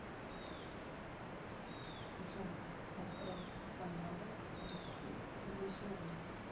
джой открой каналы русский иллюзион